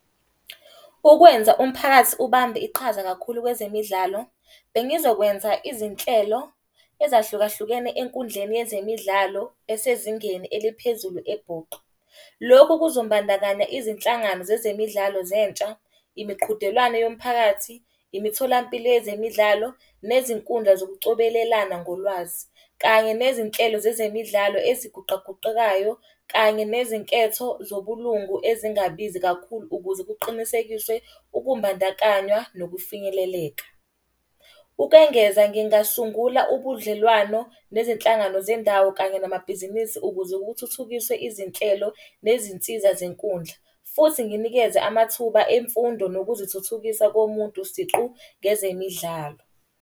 Ukwenza umphakathi ubambe iqhaza kakhulu kwezemidlalo. Bengizokwenza izinhlelo ezahlukahlukene enkundleni yezemidlalo esezingeni eliphezulu eBhuqwa. Lokhu kuzombandakanya izinhlangano zezemidlalo zentsha, imiqhudelwano yomphakathi, imitholampilo yezemidlalo, nezinkundla zokucobelelana ngolwazi. Kanye nezinhlelo zezemidlalo eziguqaguqekayo kanye nezinketho zobulungu ezingabizi kakhulu ukuze kuqinisekiswe ukumbandakanywa nokufinyeleleka. Ukwengeza ngingasungula ubudlelwano nezinhlangano zendawo kanye namabhizinisi ukuze kuthuthukiswe izinhlelo nezinsiza zenkundla. Futhi nginikeze amathuba emfundo nokuzithuthukisa komuntu siqu ngezemidlalo.